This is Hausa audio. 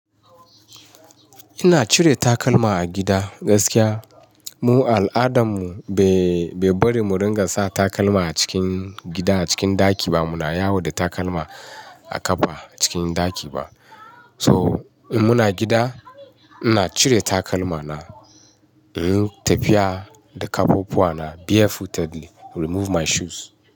Ina cire takalma a gida. Gaskiya mu a al'adanmu bai bari mu ringa sa takalma a cikin gida, a cikin ɗaki ba. Muna yawo da takalma a kafa cikin ɗaki ba. So in muna gida, ina cire takalma na, in yi tafiya da kafafuwa na barefooted remove my shoes.